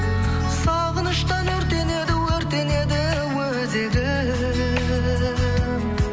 сағыныштан өртенеді өртенеді өзегім